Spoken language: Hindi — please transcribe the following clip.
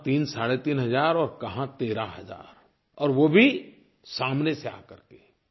कहाँ तीनसाढ़े तीन हज़ार और कहाँ 13 हज़ार और वो भी सामने से आकर के